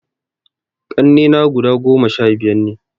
Ƙannena guda goma sha biyar ne